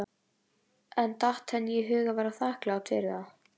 En datt henni í hug að vera þakklát fyrir það?